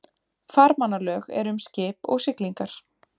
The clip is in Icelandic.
Farmannalög eru um skip og siglingar.